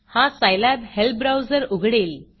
हा सायलॅब helpहेल्प ब्राऊजर उघडेल